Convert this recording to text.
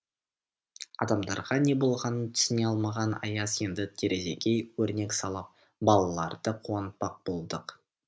адамдарға не болғанын түсіне алмаған аяз енді терезеге өрнек салып балаларды қуантпақ болды